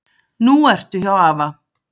Nú ertu hjá afa.